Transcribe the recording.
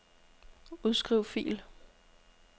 Udskriv fil.